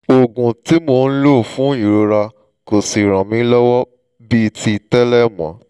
oògùn tí mò ń lò fún ìrora kò sì ràn mí lọ́wọ́ bíi ti tẹ́lẹ̀ mọ́